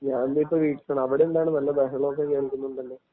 ഞാൻ ഇപ്പോൾ വീട്ടിലാണ്. അവിടെ എന്താണ്, വലിയ ബഹളം ഒക്കെ കേൾക്കുന്നുണ്ടല്ലോ?